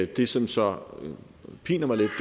det som så piner mig lidt